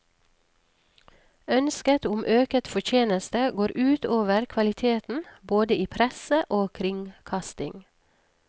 Ønsket om øket fortjeneste går ut over kvaliteten både i presse og kringkasting.